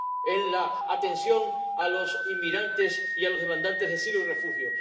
en la atención a los inmigrantes y a los demandantes de asilo y refugio.